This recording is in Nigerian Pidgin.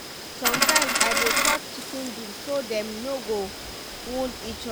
sometimes i dey cut chicken beak so dem no go wound each other.